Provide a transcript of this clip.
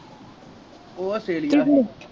ਉਹ ਅਸਟ੍ਰੇਲੀਆ